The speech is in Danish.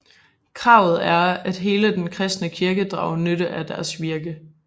Kravet er at hele den kristne kirke drager nytte af deres virke